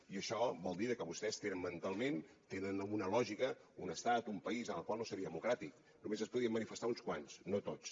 i això vol dir que vostès tenen mentalment tenen una lògica un estat un país el qual no seria democràtic només es podrien manifestar uns quants no tots